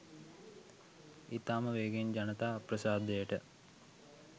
ඉතාම වේගයෙන් ජනතා අප්‍රසාදයට